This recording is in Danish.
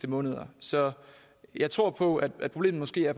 måneder så jeg tror på at problemet måske er